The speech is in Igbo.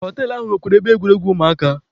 Họtelụ ahụ nwekwara ebe egwuregwu ụmụaka.